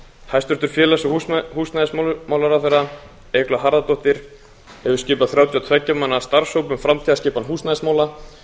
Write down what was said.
hæstvirtur félags og húsnæðismálaráðherra eygló harðardóttir hefur skipað þrjátíu og tveggja manna starfshóp um framtíðarskipan húsnæðismála